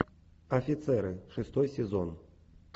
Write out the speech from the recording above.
офицеры шестой сезон